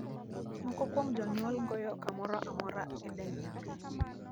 Moko kuom jonyuol goyo kamoro amora e dend nyathi.